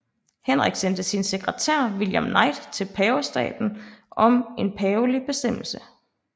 Henrik sendte sin sekretær William Knight til pavestaten om en pavelig bestemmelse